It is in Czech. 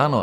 Ano.